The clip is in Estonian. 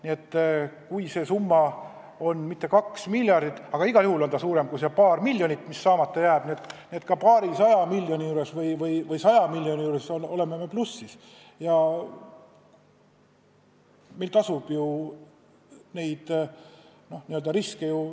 Nii et kui see summa pole mitte kaks miljardit, aga igal juhul on suurem kui see paar miljonit, mis saamata jääb, siis ka paarisaja või saja miljoni puhul oleme plussis.